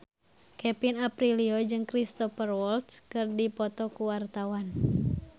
Kevin Aprilio jeung Cristhoper Waltz keur dipoto ku wartawan